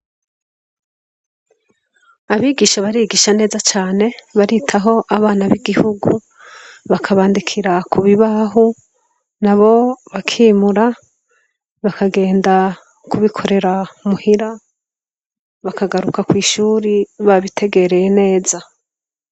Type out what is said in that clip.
Abigisha barigisha neza cane baritaho abana b' igihugu bakabandikura ku bibaho nabo bakimura bakagenda kubikorera muhira bakagaruka kwishure babitegereye neza.